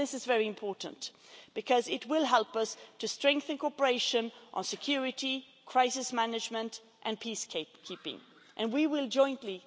This is very important because it will help us to strengthen cooperation on security, crisis management and peace keeping and we will do so jointly.